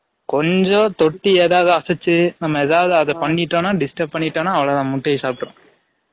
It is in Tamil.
கொஞ்சம் தொட்டி எதாது அசைசு நம்ம எதாது அத பன்னிட்டடோம் நா disturb பன்னிடோம்னா அவலோ தான் முட்டைய சாப்ட்ற்றும்